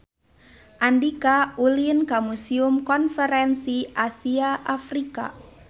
Andika ulin ka Museum Konferensi Asia Afrika